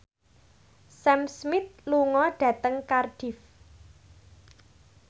Sam Smith lunga dhateng Cardiff